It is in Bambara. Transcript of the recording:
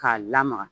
K'a lamaga